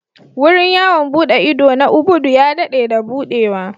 Wurin yawon buɗe ido na Ubudu ya daɗe da buɗewa.